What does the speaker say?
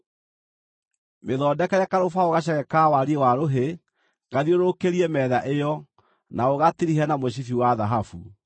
Mĩthondekere karũbaũ gaceke ka wariĩ wa rũhĩ gathiũrũrũkĩrie metha ĩyo, na ũgatirihe na mũcibi wa thahabu.